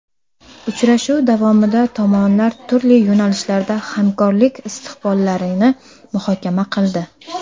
Uchrashuv davomida tomonlar turli yo‘nalishlarda hamkorlik istiqbollarini muhokama qildi.